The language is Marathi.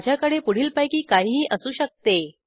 माझ्याकडे पुढीलपैकी काहीही असू शकते